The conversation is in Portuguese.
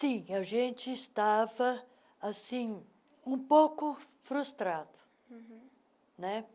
Sim, a gente estava assim, um pouco frustrado uhum, né?